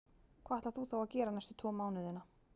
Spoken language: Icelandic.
Hvað ætlar þú þá að gera næstu tvo mánuðina?